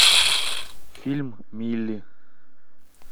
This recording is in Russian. фильм мили